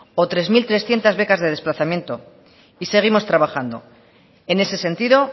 o tres mil trescientos becas de desplazamiento y seguimos trabajando en ese sentido